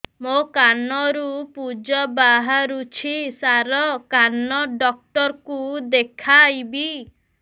ମୋ କାନରୁ ପୁଜ ବାହାରୁଛି ସାର କାନ ଡକ୍ଟର କୁ ଦେଖାଇବି